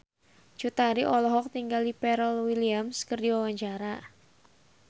Cut Tari olohok ningali Pharrell Williams keur diwawancara